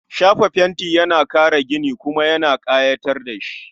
Shafa fenti yana kare gini, kuma ya kayatar da shi